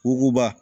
Wuguba